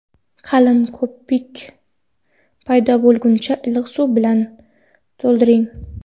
Qalin ko‘pik paydo bo‘lguncha iliq suv bilan to‘ldiring.